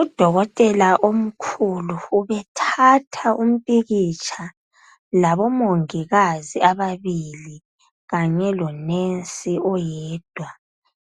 Udokotela omkhulu ubethatha umpikitsha labomongikazi ababili, kanye lo"nurse" oyedwa.